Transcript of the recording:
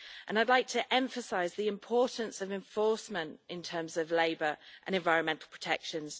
I'd like to emphasise the importance of enforcement in terms of labour and environmental protections.